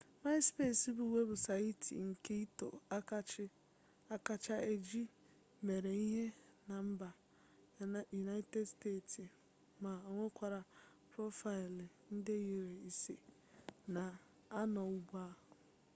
maịspes bụ webụsaịtị nke ịtọ akacha eji mere ihe na mba yunaịted steeti ma onwekwara profaịlụ nde iri ise na anọ ugbua